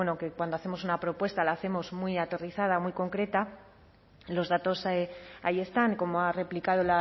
que cuando hacemos una propuesta la hacemos muy aterrizada muy concreta los datos ahí están como ha replicado